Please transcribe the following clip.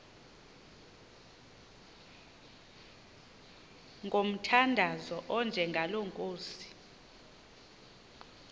ngomthandazo onjengalo nkosi